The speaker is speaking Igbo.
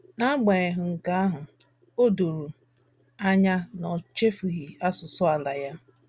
N’agbanyeghị nke ahụ, o doro anya na o chefughị asụsụ ala ya.